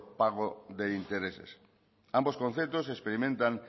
pago de intereses ambos conceptos experimentan